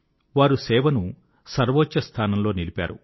వారు సేవను సర్వోచ్చ స్థానంలో నిలిపారు